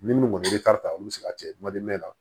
Ni minnu kɔni ye ta olu bɛ se ka kɛ la